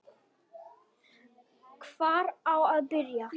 Hvar á að byrja?